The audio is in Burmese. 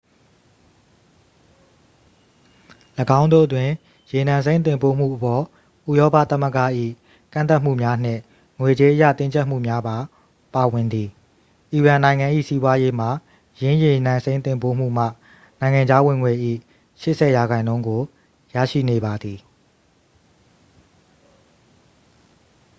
၎င်းတို့တွင် ရေနံစိမ်းတင်ပို့မှုအပေါ် ဥရောပသမ္မဂ၏ ကန့်သတ်မှုများနှင့် ငွေကြေးအရ တင်းကြပ်မှုများပါ ပါဝင်သည် အီရန်နိုင်ငံ၏ စီးပွားရေးမှာ ယင်းရေနံစိမ်းတင်ပို့မှုမှ နိုင်ငံခြားဝင်ငွေ၏ 80% ကို ရရှိနေပါသည်